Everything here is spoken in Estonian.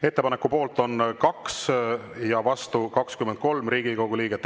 Ettepaneku poolt on 2 ja vastu 23 Riigikogu liiget.